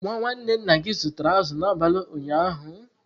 Nwa nwanne nna gị zụtara azụ̀ n'abalị ụnyaahụ?